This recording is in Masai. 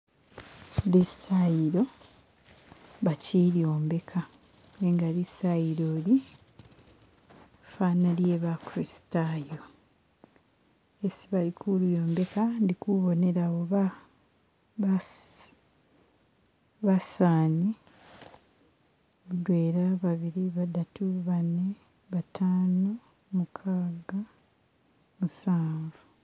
lisayilo bakyilyombeka nenga lisayilo li fana lye bakuristayo isi balikulyombeka ndikubona basaani mudwela babili badatu bane bataano mukaaga musanvu